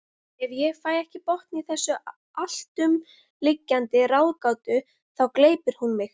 Ef ég fæ ekki botn í þessa alltumlykjandi ráðgátu þá gleypir hún mig.